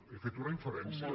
he fet una inferència